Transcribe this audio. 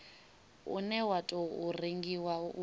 une wa tou rengiwa u